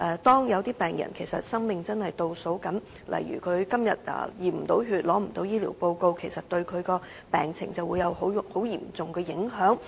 當有病人的生命正在倒數，如果他今天無法驗血、無法獲得醫療報告，這會對其病情造成嚴重影響。